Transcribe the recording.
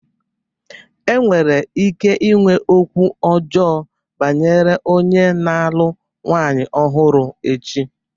Enwere ike inwe okwu ọjọọ banyere onye na-alụ nwanyị ọhụrụ echi.